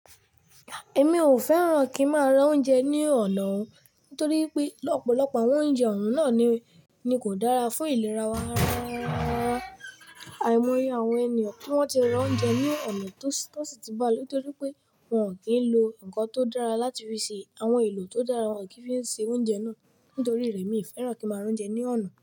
Èmi ò fẹ́ràn kí n máa ra oúnjẹ ní ọ̀nà ọ̀hun torí pé lọ̀pọ̀lọpọ̀ àwọn oúnjẹ ọ̀hun náà ni, ni kò dára fún ìlera wa rarararara. Àìmọye àwọn ènìyàn tí wọ́n ti ra oúnjẹ ní ọ̀nà tó sì ti bá lọ torí pé wọ́n ò kí ń lo ǹkan tó dára láti fi ṣe àwọn èlò tó dára, wọ́n ò kí ń fi se oúnjẹ náà. Nítorí rẹ̀, mi ò fẹ́ràn kí n máa ra oúnjẹ ní ọ̀nà.